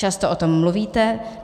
Často o tom mluvíte.